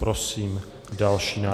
Prosím další návrh.